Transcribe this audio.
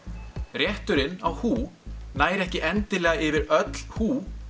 rétturinn á húh nær ekki endilega yfir öll húh